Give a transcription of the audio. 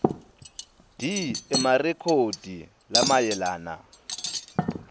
d emarekhodi lamayelana